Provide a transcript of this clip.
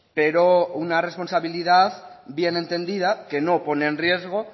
pero una responsabilidad bien entendida que no pone en riesgo